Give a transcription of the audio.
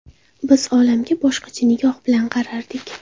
Biz olamga boshqacha nigoh bilan qarardik.